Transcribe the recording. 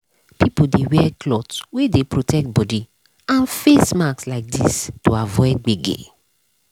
people dey wear cloth wey dey protect body and face mask like this to avoid gbege.